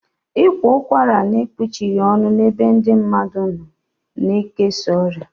Ị kwa ụkwara n'ekpuchighi ọnụ n'ebe ndị mmadụ nọ ga ekesa ọrịa